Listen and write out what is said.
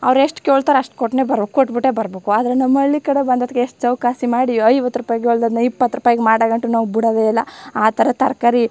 ಅವ್ರ್ ಎಷ್ಟ್ ಕೇಳತ್ತರೆ ಅಷ್ಟ್ ಕೊಟ್ಟೆನೆ ಬರೋ ಕೊಟ್ಟಬಿಟ್ಟೆ ಬರಬೇಕು ಆದ್ರೆ ನಮ್ಮ್ ಹಳ್ಳಿ ಕಡೆ ಬಂದ್ ಹೊತ್ತ್ ಗೆ ಎಷ್ಟ್ ಚೌಕಾಶಿ ಮಾಡಿ ಐವತ್ತು ರೂಪಾಯಿ ಕೇಳ್ ದವ್ರನಾ ಇಪ್ಪತ್ ರೂಪಾಯಿ ಮಾಡ್ ಗಂಟಾ ನಾವು ಬಿಡೋದೆ ಇಲ್ಲಾ ಆತರ ತರಕಾರಿ.